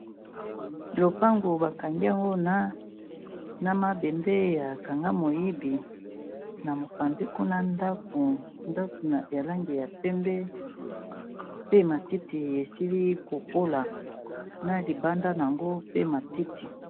Lopango ba kangi yango na mabende ya kanga moyibi na mopanzi kuna ndako, ndako ya langi ya pembe pe matiti esili ko kola na libanda nango pe matiti.